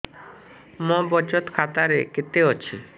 ମୋ ବଚତ ଖାତା ରେ କେତେ ଅଛି